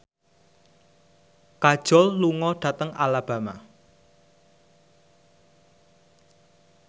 Kajol lunga dhateng Alabama